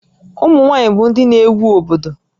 Ụmụ nwaanyị bụ ndị na-éwú obodo